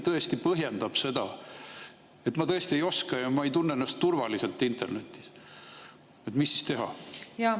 Kui inimene põhjendab seda nii, et ta tõesti ei oska ja ta ei tunne ennast internetis turvaliselt, mis siis teha?